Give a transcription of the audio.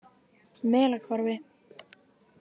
Melahvarfi